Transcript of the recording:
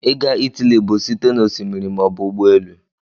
Ịga Italy bụ site na osimiri maọbụ ụgbọelu